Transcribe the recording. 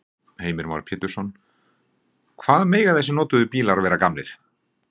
Heimir Már Pétursson: Hvað mega þessir notuðu bílar vera gamlir?